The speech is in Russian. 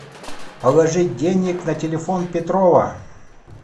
положить денег на телефон петрова